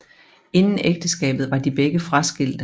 Inden ægteskabet var de begge fraskilte